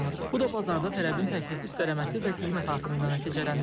Bu da bazarda tələbin təklifi üstələməsi və qiymət artımı ilə nəticələnir.